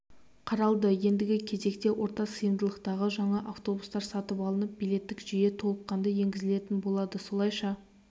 қаралды ендігі кезекте орта сыйымдылықтағы жаңа автобустар сатып алынып билеттік жүйе толыққанды енгізілетін болады солайша